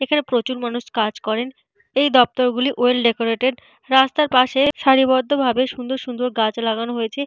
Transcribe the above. এখানে প্রচুর মানুষ কাজ করেন। এই দপ্তরগুলি ওয়েল ডেকোরেটেড । রাস্তার পাশে সারিবদ্ধ ভাবে সুন্দর সুন্দর গাছ লাগানো হয়েছে।